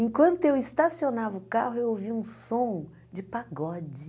Enquanto eu estacionava o carro, eu ouvia um som de pagode.